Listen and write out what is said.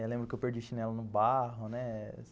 Eu lembro que eu perdi o chinelo no barro, né?